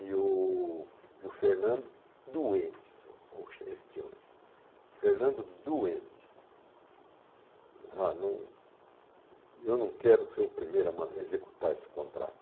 E o e o Fernando, doente, Fernando doente, ah não eu não quero ser o primeiro a man a executar esse contrato.